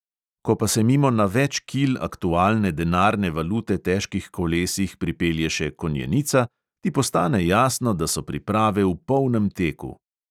Ko pa se mimo na več kil aktualne denarne valute težkih kolesih pripelje še konjenica, ti postane jasno, da so priprave v polnem teku!